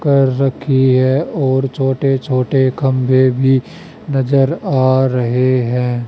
कर रखी है और छोटे छोटे खंबे भी नजर आ रहे हैं।